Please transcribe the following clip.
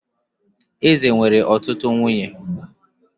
Eze nwere ọtụtụ nwunye